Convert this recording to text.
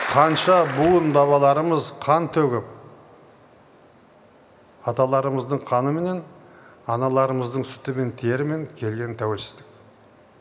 қанша буын бабаларымыз қан төгіп аталарымыздың қаныменен аналарымыздың сүтімен терімен келген тәуелсіздік